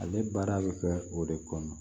Ale baara bɛ kɛ o de kɔnɔ